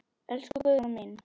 Elsku Guðrún mín.